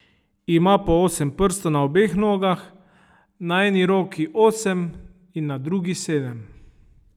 Ima po osem prstov na obeh nogah, na eni roki osem in na drugi sedem.